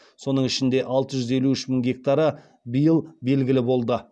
соның ішінде алты жүз елу үш мың гектары биыл белгілі болды